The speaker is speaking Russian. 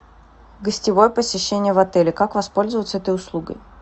гостевое посещение в отеле как воспользоваться этой услугой